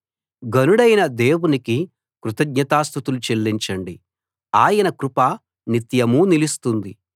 ఘనుడైన దేవునికి కృతజ్ఞతాస్తుతులు చెల్లించండి ఆయన కృప నిత్యమూ నిలుస్తుంది